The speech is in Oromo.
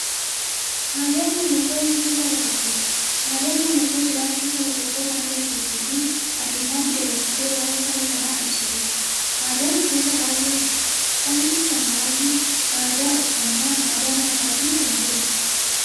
Aadaan mallattoo ibsituu saba tokkooti. Aadaan mallattoo jiraachuu saba tokkoo kan agarsiistufi addunyyaatti dabarsitee waa'ee saba sanaa ibsituudha. Aadaan gosa baay'eetu jira. Isaan keessaa muraasni aadaa, uffannaa aadaa nyaataafi kan biroo.